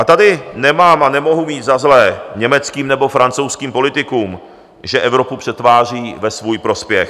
A tady nemám a nemohu mít za zlé německým nebo francouzským politikům, že Evropu přetvářejí ve svůj prospěch.